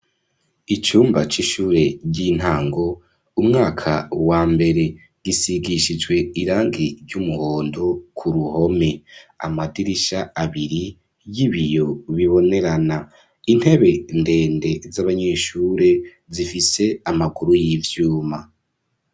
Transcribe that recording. Icumba c'ishuri ry'intango umwaka w'ambere, gisigishijwe irangi ry'umuhondo kuruhome, amadirisha abiri y'ibiyo bibonerana, intebe ndende z'abanyeshure zifise amaguru y'ivyuma.